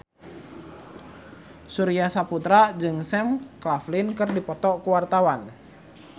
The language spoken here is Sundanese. Surya Saputra jeung Sam Claflin keur dipoto ku wartawan